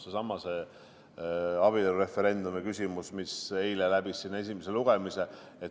Seesama abielureferendumi küsimus, mis eile läbis esimese lugemise.